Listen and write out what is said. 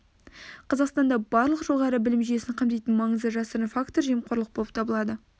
қазақстанда барлық жоғары білім жүйесін қамтитын маңызды жасырын фактор жемқорлық болып табылады